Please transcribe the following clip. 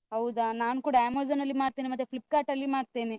ಹೌದಾ, ನಾನ್ ಕೂಡ Amazon ಅಲ್ಲಿ ಮಾಡ್ತೇನೆ ಮತ್ತೆ Flipkart ಅಲ್ಲಿ ಮಾಡ್ತೇನೆ.